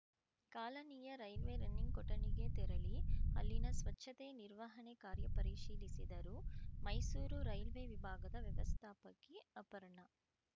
ಕಾಲನಿಯ railway running ಕೊಠಡಿಗೆ ತೆರಳಿ ಅಲ್ಲಿನ ಸ್ವಚ್ಛತೆ ನಿರ್ವಹಣೆ ಕಾರ್ಯ ಪರಿಶೀಲಿಸಿದರು ಮೈಸೂರು ರೈಲ್ವೆ ವಿಭಾಗದ ವ್ಯವಸ್ಥಾಪಕಿ ಅಪರ್ಣ